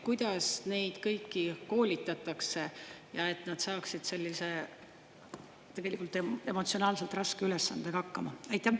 Kuidas neid kõiki koolitatakse, et nad saaksid sellise tegelikult emotsionaalselt raske ülesandega hakkama?